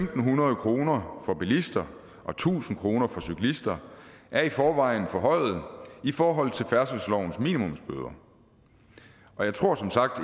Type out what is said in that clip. hundrede kroner for bilister og tusind kroner for cyklister er i forvejen forhøjet i forhold til færdselslovens minimumsbøder og jeg tror som sagt